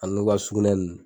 A n'u ka